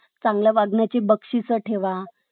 चांगल्या वाढण्याची बक्षीस ठेवा ,